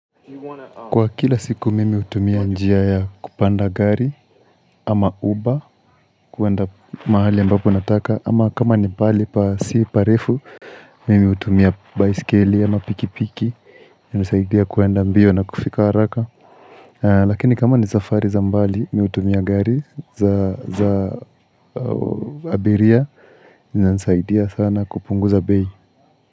Kwa kila siku mimi hutumia njia ya kupanda gari ama uba kuenda mahali ambapo nataka ama kama ni pahali pa si parefu mimi hutumia baiskeli ama pikipiki hunisaidia kuenda mbio na kufika haraka lakini kama ni safari za mbali mimi hutumia gari za za abiria nisaidia sana kupunguza bei.